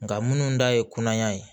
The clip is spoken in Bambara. Nka minnu ta ye kunaya ye